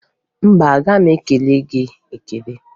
Mba, agaghị m ekele gị ekele.